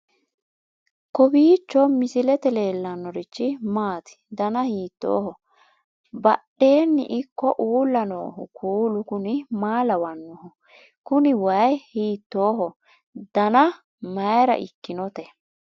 kowiicho misilete leellanorichi maati ? dana hiittooho ?abadhhenni ikko uulla noohu kuulu kuni maa lawannoho? kuni wayi hiittoho dana mayra ikkinote